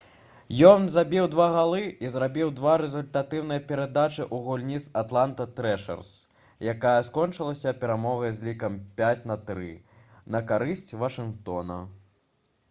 ён забіў 2 галы і зрабіў 2 рэзультатыўныя перадачы ў гульні з «атланта трэшэрс» якая скончылася перамогай з лікам 5—3 на карысць вашынгтона